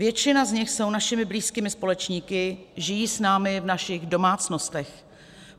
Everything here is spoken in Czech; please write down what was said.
Většina z nich jsou našimi blízkými společníky, žijí s námi v našich domácnostech.